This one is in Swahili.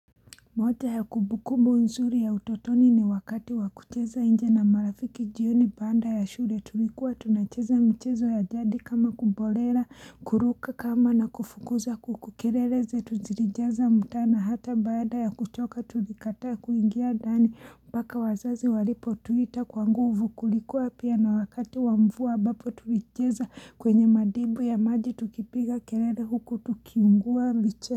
Moja ya kumbukumbo nzuri ya utotoni ni wakati wakucheza nje na marafiki jioni baada ya shule tulikuwa tunacheza mchezo ya jadi kama kubolela kuruka kamba na kufukuza kuku kerere zetu zirijaza mtaana hata baada ya kuchoka tulikata kuingia dani mpaka wazazi walipo tuita kwanguvu kulikuwa pia na wakati wa mvua abapo tulicheza kwenye madimbwi ya maji tukipiga kerere huku tukiungua mche.